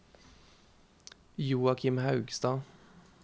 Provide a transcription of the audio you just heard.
Joachim Haugstad